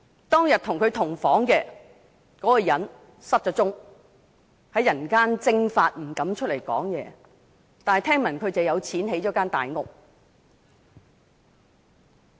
當天和他同房的人失了蹤，在人間蒸發，不敢出來說話，但聽聞這人有錢建了大屋。